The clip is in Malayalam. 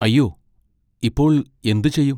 അയ്യോ, ഇപ്പോൾ എന്തു ചെയ്യും?